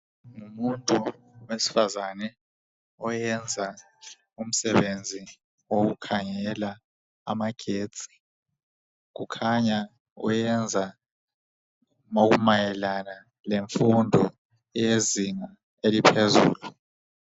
Umfundi owesifazane oyenza umsebenzi owokukhangela amagetsi, kukhanya uyenza okumayelana lemfundo eyezinga eliphezulu.